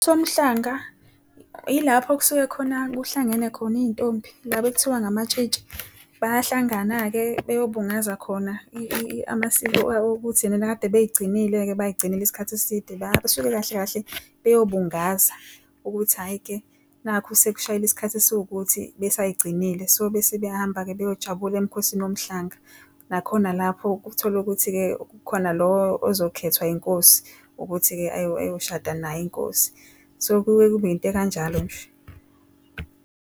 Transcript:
KoMhlanga yilapho kusuke khona kuhlangene khona izintombi laba ekuthiwa ngamatshitshi. Bayahlangana-ke beyobungaza khona amasiko okuthi-ke kade beyigcinile-ke bayigcinela isikhathi eside, basuke kahle kahle beyobungaza ukuthi hhayi-ke nakhu sekushayile isikhathi esiwukuthi besayigcinile. So bese sebayahamba-ke beyojabula emikhosini woMhlanga. Nakhona lapho kuthola ukuthi-ke kukhona lo ozokhethwa inkosi ukuthi-ke ayoshada nayo inkosi, so kuye kube into ekanjalo nje.